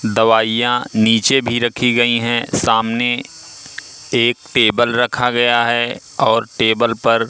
दवाईयां नीचे भी रखी गई है सामने एक टेबल रखा गया है और टेबल पर--